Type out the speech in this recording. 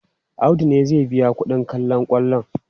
Audu ne zai biya kuɗin kallon kwallon.